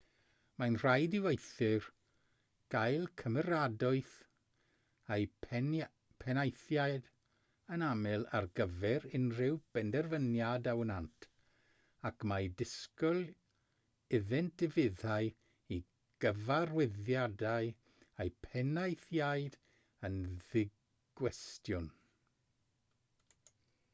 mae'n rhaid i weithwyr gael cymeradwyaeth eu penaethiaid yn aml ar gyfer unrhyw benderfyniad a wnânt ac mae disgwyl iddynt ufuddhau i gyfarwyddiadau eu penaethiaid yn ddigwestiwn